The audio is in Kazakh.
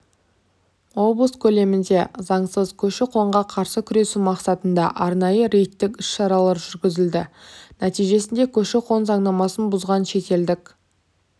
облыс көлемінде заңсыз көші-қонға қарсы күресу мақсатында арнайы рейдтік іс-шаралар жүргізілді нәтижесінде көші-қон заңнамасын бұзған шетелдік